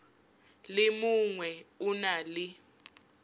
le mongwe o na le